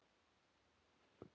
Ertu viss um þetta?